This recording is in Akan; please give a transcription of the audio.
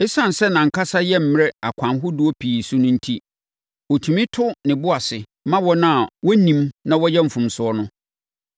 Esiane sɛ nʼankasa yɛ mmerɛ akwan ahodoɔ pii so no enti, ɔtumi to ne bo ase ma wɔn a wɔnnim na wɔyɛ mfomsoɔ no.